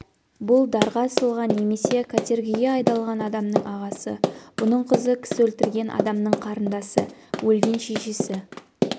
бұл дарға асылған немесе катергіге айдалған адамның ағасы бұның қызы кісі өлтірген адамның қарындасы өлген шешесі